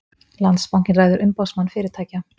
Landsbankinn ræður Umboðsmann fyrirtækja